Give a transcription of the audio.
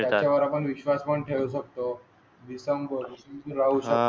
शकतो विसंबून राहून हा.